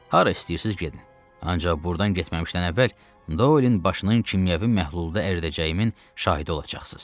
Hara istəyirsiz gedin, ancaq burdan getməmişdən əvvəl Doelin başının kimyəvi məhlulda əridəcəyimin şahidi olacaqsız.